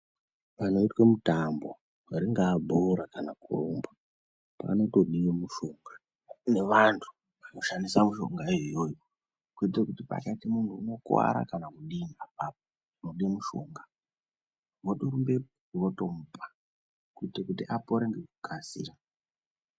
Panoitwe mutambo ringaa bhora kana kurumba panotodiwe mushonga nevantu vanoshandisa mushonga yoyoyo kuitire kuti pakaita munhu unokuwara kana kudini apapo unode mushonga wotorumbepo wotomupa kuitira kuti apore ngekukasira.